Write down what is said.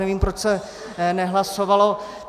Nevím, proč se nehlasovalo.